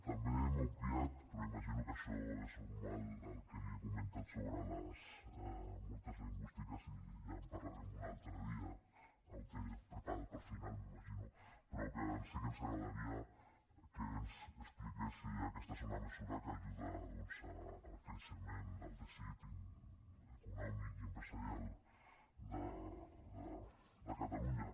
també m’ha obviat però imagino que això és normal el que li he comentat sobre les multes lingüístiques i ja en parlarem un altre dia o ho té preparat pel final m’imagino però que sí que ens agradaria que ens expliqués si aquesta és una mesura que ajuda doncs al creixement del teixit econòmic i empresarial de catalunya